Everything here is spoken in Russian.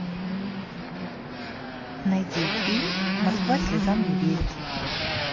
найди фильм москва слезам не верит